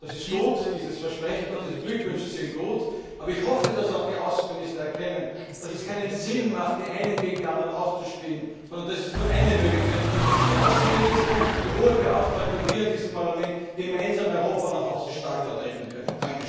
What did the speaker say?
Dieses Versprechen ist gut, und auch die Glückwünsche sind gut, aber ich hoffe, dass auch die Außenminister erkennen, dass es keinen Sinn macht, die einen gegen die anderen auszuspielen, sondern dass es nur eine Möglichkeit gibt dass die Außenminister, die Hohe Beauftragte und wir in diesem Parlament gemeinsam Europa nach außen stark vertreten können.